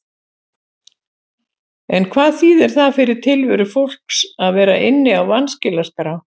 En hvað þýðir það fyrir tilveru fólks að vera inni á vanskilaskrá?